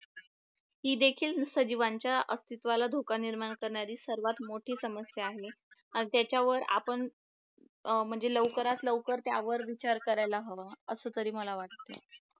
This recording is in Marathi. हे देखील सजीवांच्या अस्तित्वाला धोका निर्माण करणारी सर्वात मोठी समस्या आहे आणि त्याच्यावर आपण म्हणजे लवकरात लवकर त्यावर विचार करायला हवा असं तरी मला वाटते